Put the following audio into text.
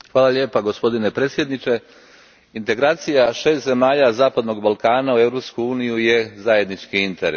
Gospodine predsjedniče, integracija šest zemalja zapadnog Balkana u Europsku uniju je zajednički interes.